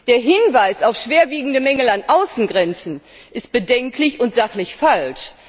Der Hinweis auf schwerwiegende Mängel an den Außengrenzen ist bedenklich und sachlich falsch.